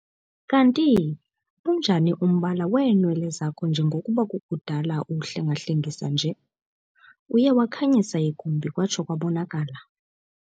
Kantii unjani umbala weenwele zakho njengokuba kukudala uwuhlenga-hlengisa nje? uye wakhanyisa igumbi kwatsho kwabonakala